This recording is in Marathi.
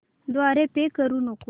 द्वारे पे करू नको